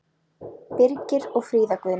Birgir og Fríða Guðný.